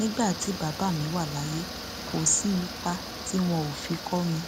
nígbà tí bàbá mi wà láyé kò sí ipa tí wọn ò fi kó mi